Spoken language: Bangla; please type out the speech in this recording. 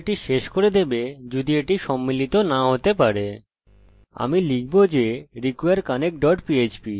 আমি লিখব যে require connect dot php শুধু এই বলার জন্য যে যদি আপনি ডাটাবেসের সাথে জুড়তে না পারেন বাকি পৃষ্ঠা ব্যর্থ